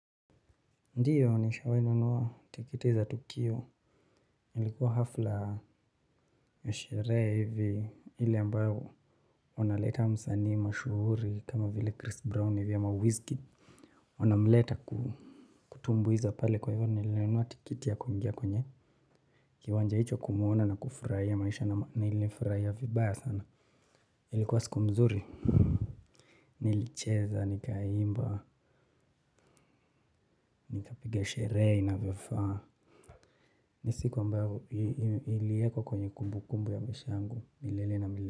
Ndiyo nishawahi nanua tiketi za tukio. Nilikuwa hafla ya sherehe hivi ile ambayo unaleta msanii mashuhuri kama vile chris brown hivi ama wiz kid unamleta ku kutumbuiza pale kwa hivyo nilinunua tiketi ya kuingia kwenye kiwanja hicho kumuona na kufurahia maisha na ma nilifurahia vibaya sana. Ilikuwa siku mzuri. Nilicheza nikaimba nikapiga sherehe inavyofaa. Ni siku ambayo iliwekwa kwenye kumbukumbu ya maisha yangu milele na milele.